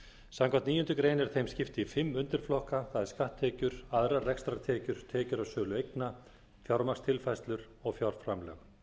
samkvæmt níundu grein er þeim skipt í fimm undirflokka það er skatttekjur aðrar rekstrartekjur tekjur af sölu eigna fjármagnstilfærslur og fjárframlög